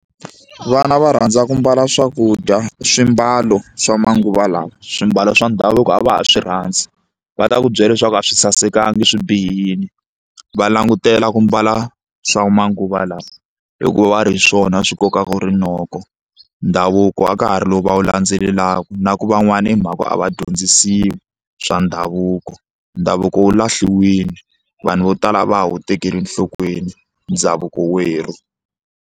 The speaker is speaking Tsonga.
Vana va rhandza ku mbala swakudya swimbalo swa manguva lawa swimbalo swa ndhavuko a va ha swi rhandzi va ta ku byela leswaku a swi sasekanga swi bihile va langutela ku mbala swa manguva lawa hikuva va ri hi swona swi kokaka rinoko ndhavuko a ka ha ri lowu va wu landzelelaka na ku van'wana i mhaka ya ku a va dyondzisiwi swa ndhavuko ndhavuko wu lahliwile vanhu vo tala a va ha wu tekeli enhlokweni ndhavuko werhu.